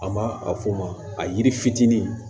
An ma a f'o ma a yiri fitinin